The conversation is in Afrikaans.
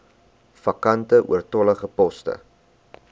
vakante oortollige poste